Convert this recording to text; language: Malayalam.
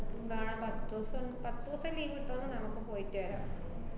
~ന്താണ് പത്തൂസം, പത്തൂസം leave കിട്ടൂന്നെ നമ്മക്ക് പോയിട്ട് വരാം.